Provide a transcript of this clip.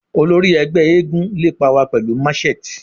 Olori ẹgbẹ eégún lepa wa pẹlu matchet